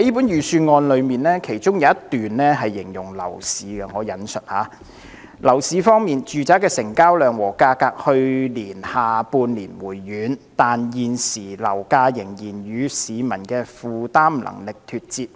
預算案有一段形容樓市情況："樓市方面，住宅的成交量和價格去年下半年回軟，但現時樓價仍然與市民的負擔能力脫節。